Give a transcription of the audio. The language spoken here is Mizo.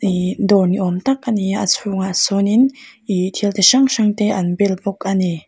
ih dawr ni awm tak ani a a chhungah sawn in ih thil chi hrang hrang te an bel bawk ani.